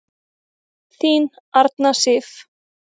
Þín Arna Sif.